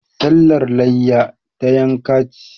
Sallar layya, ta yanka ce.